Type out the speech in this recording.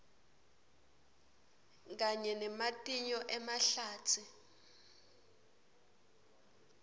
kanye nematinyo emahlatsi